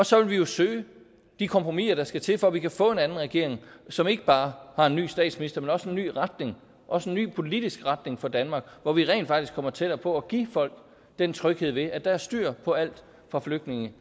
så vil vi jo søge de kompromiser der skal til for at vi kan få en anden regering som ikke bare har en ny statsminister men også en ny retning også en ny politisk retning for danmark hvor vi rent faktisk kommer tættere på at give folk den tryghed ved at der er styr på alt fra flygtninge